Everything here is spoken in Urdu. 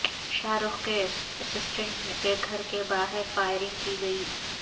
شاہ رخ کے اسسٹنٹ کے گھر کے باہر فائرنگ کی گئی